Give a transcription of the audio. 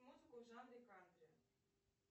музыку в жанре кантри